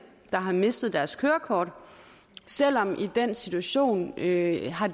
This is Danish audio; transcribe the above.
der har mistet deres kørekort selv om de i den situation ikke har